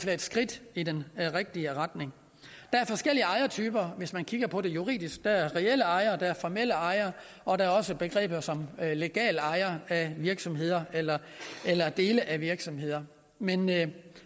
er et skridt i den rigtige retning der er forskellige ejertyper hvis man kigger på det juridisk der er reelle ejere og der er formelle ejere og der er også et begreb som legale ejere af virksomheder eller eller dele af virksomheder men men